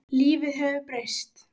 Lífið hefur breyst.